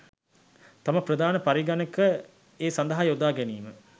තම ප්‍රධාන පරිගණක ඒ සදහා යොදා ගැනීම